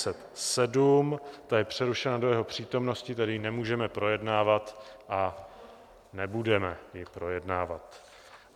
Ta je přerušena do jeho přítomnosti, tedy ji nemůžeme projednávat a nebudeme ji projednávat.